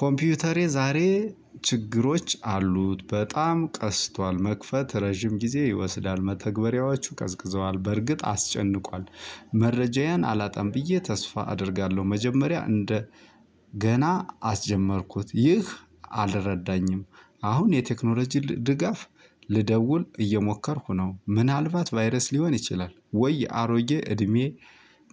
ኮምፒውተሬ ዛሬ ችግሮች አሉት በጣም ቀስቷል መክፈት ረዥም ጊዜ ይወስዳል መተግበሪያዎቹ ቀዝቅዘዋል በርግጥ አስጨንቋል። መረጃየን አላጣም ብየ ተስፋ አደርጋለሁ። መጀመሪያ እንደ ገና አስጀመርኩት ይህ አልረዳኝም። አሁን የቴክኖሎጂ ድጋፍ ልደውል እየሞከርኩ ነው። ምን አልባት ቫይረስ ሊሆን ይችላል? ወይ የአሮጌ እድሜ።